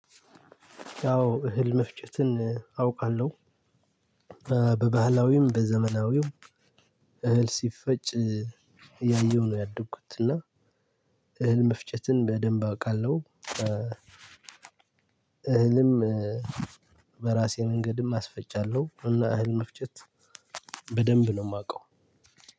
አዎ እህል መፍጨትን አውቃለሁ። በባህላዊውም በዘመናዊው እህል ሲፈጭ እያየሁ ነው ያደኩት እና እህል መፍጨትን በደንብ አውቃለሁ። እህልም በራሴ መንገድም አስፈቻለሁ። እና እህል መፍጨት በደንብ ነው እማውቀው